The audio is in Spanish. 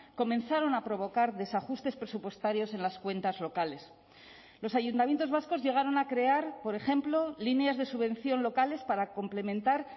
comenzaron a provocar desajustes presupuestarios en las cuentas locales los ayuntamientos vascos llegaron a crear por ejemplo líneas de subvención locales para complementar